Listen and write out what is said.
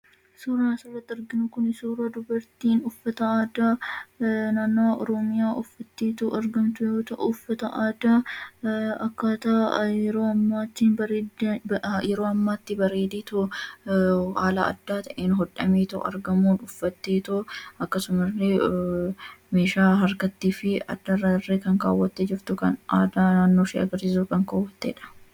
Suuraan asirratti arginu kun suuraa dubartiin uffata aadaa naannoo oromiyaa uffattee argamtu yoo ta'u, uffata aadaa yeroo ammaa ittiin bareedee haala adda ta'een hodhamee argamu uffattee akkasumas meeshaa harkattii fi addarra illee kan kaawwattee jirtu kan aadaa naannooshee ibsuuf kan kaawwattedha.